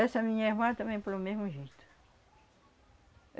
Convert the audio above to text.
Essa minha irmã também foi o mesmo jeito.